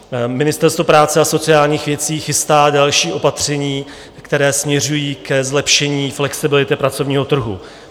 Ministerstvo práce a sociálních věcí chystá další opatření, která směřují ke zlepšení flexibility pracovního trhu.